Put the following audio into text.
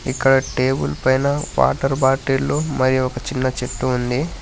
ఇక్కడ టేబుల్ పైన వాటర్ బాటిళ్లు మరియు ఒక చిన్న చెట్టు ఉంది.